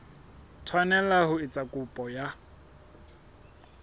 tshwanela ho etsa kopo ya